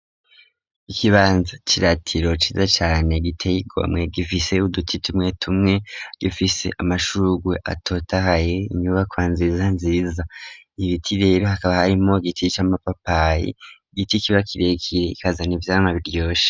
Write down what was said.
Ikibanza ciratiro ciza cane giteye igomwe gifise uduti tumwe tumwe gifise amashurwe atotahaye inyubako nziza nziza ibiti rero hakaba harimwo giti c'amapapayi igiti kiba kirekire kikazana ivyamwa biryoshe.